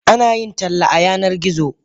Ana yin talle a a Yanar gizo.